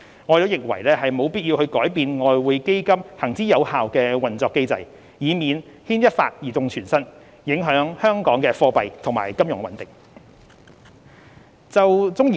我們認為沒有必要改變外匯基金行之有效的運作機制，以免牽一髮而動全身，影響香港的貨幣及金融穩定。